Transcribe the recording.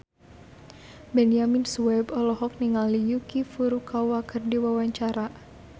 Benyamin Sueb olohok ningali Yuki Furukawa keur diwawancara